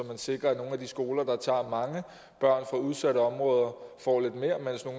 man sikrer at nogle af de skoler der tager mange børn fra udsatte områder